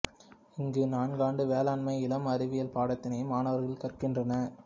இங்கு நான்காண்டு வேளாண்மை இளம் அறிவியல் பாடத்தினை மாணவர்கள் கற்கின்றனர்